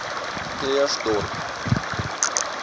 krugersdorp